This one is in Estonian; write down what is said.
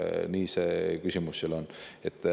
Nii et see küsimus seal on.